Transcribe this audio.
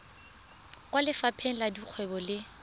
kwa lefapheng la dikgwebo le